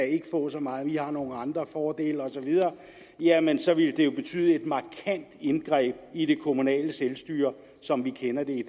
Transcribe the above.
ikke få så meget men i har nogle andre fordele osv jamen så ville det jo betyde et markant indgreb i det kommunale selvstyre som vi kender i